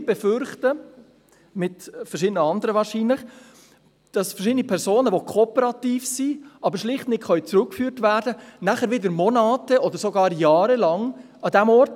Wir befürchten – wahrscheinlich mit verschiedenen anderen –, dass verschiedene Personen, die kooperativ sind, aber schlicht nicht zurückgeführt werden können, nachher wieder monate- oder sogar jahrelang an diesem Ort sind.